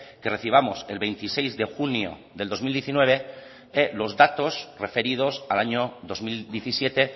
que recibamos el veintiséis de junio del dos mil diecinueve los datos referidos al año dos mil diecisiete